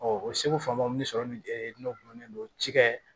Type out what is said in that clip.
o seko famu sɔrɔ ni e n'o gulonnen don ci kɛ